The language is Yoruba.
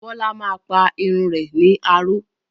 Bólá máa pa irun rẹ̀ ní aró.